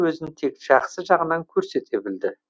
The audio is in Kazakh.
өзін тек жақсы жағынан көрсете білді